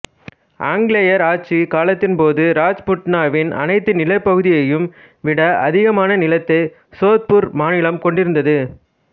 ஆங்கிலேயர் ஆட்சி காலத்தின் போது ராஜ்புட்டனாவின் அனைத்து நிலப்பகுதியையும் விட அதிகமான நிலத்தை சோத்பூர் மாநிலம் கொண்டிருந்தது